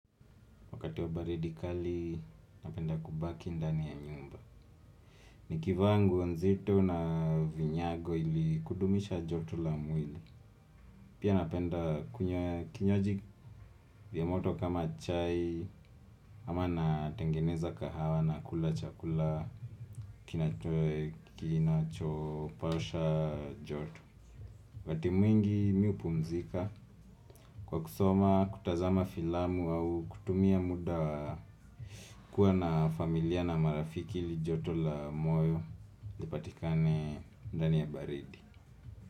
Wakati wa baridi kali, napenda kubaki ndani ya nyumba. Nikivaa nguo nzito na vinyago ili kudumisha joto la mwili. Pia napenda kunywa kinywaji vya moto kama chai ama natengeneza kahawa na kula chakula kinacho pasha joto. Wakati mwingi mimi hupumzika kwa kusoma, kutazama filamu au kutumia muda kuwa na familia na marafiki li joto la moyo lipatikane ndani ya baridi.